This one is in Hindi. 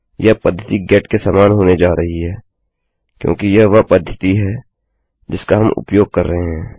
यह पद्धति गेट के समान होने जा रही है क्योंकि यह वह पद्धति है जिसका हम उपयोग कर रहे हैं